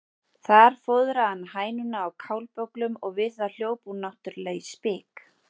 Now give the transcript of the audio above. Þar fóðraði hann hænuna á kálbögglum og við það hljóp hún náttúrlega í spik.